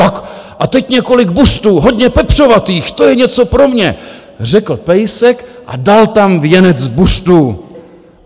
Tak a teď několik buřtů, hodně pepřovatých, to je něco pro mě, řekl pejsek a dal tam věnec buřtů.